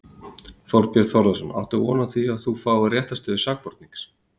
Þorbjörn Þórðarson: Áttu von á því að þú fáir réttarstöðu sakbornings?